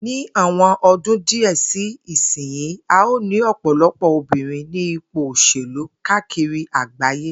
Ní àwo̩n odún díè̩ sí ìsinyìí, a óò ní ò̩pò̩lo̩pò̩ obìnrin ní ipò òs̩èlú káàkiri àgbáyé